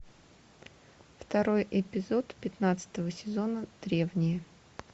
второй эпизод пятнадцатого сезона древние